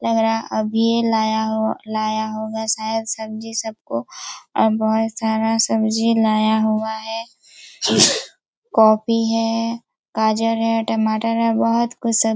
लग रहा अभी लाया हो लाया होगा शायद सब्जी सब को अब बहुत सारा सब्जी लाया हुआ है कोभी है गाजर है टमाटर है बहुत कुछ सब्जी--